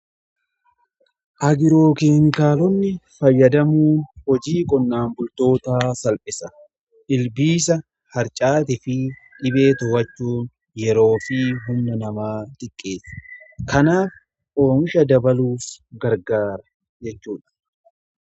Agiroo keenkaalonni fayyadamuu hojii qonnaan bultootaa salphisa. Ilbiisa harcaati fi dhibee to'achuu yeroo fi humna namaa xiqqeesse kanaaf oomisha dabaluuf gargaara jechuudha.